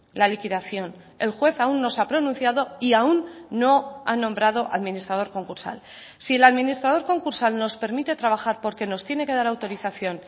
la liquidación el juez aún no se ha pronunciado y aún no ha nombrado administrador concursal si el administrador concursal nos permite trabajar porque nos tiene que dar autorización